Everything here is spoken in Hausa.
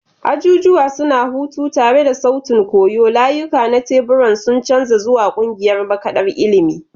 Ajujuwa suna huta tare da sautin koyo, layuka na tebura sun canza zuwa ƙungiyar makaɗar ilimi.